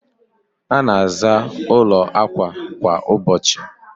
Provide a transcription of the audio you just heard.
a na-aza ụlọ akwa kwa ụbọchị.